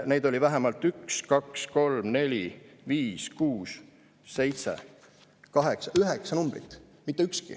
Neid oli vähemalt üks, kaks, kolm, neli, viis, kuus, seitse, kaheksa – üheksa numbrit.